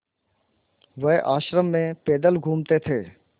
वह आश्रम में पैदल घूमते थे